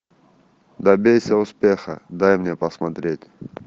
добейся успеха дай мне посмотреть